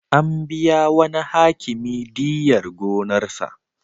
An biya wani Hakimi diyyar gonarsa.